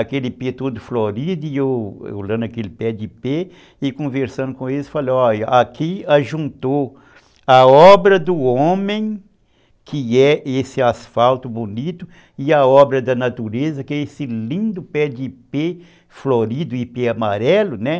Aquele Ipê todo florido e eu olhando aquele pé de pé e conversando com eles, falei, olha, aqui juntou a obra do homem, que é esse asfalto bonito, e a obra da natureza, que é esse lindo pé de Ipê, florido e Ipê amarelo, né?